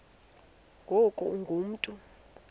ngoku ungu mntu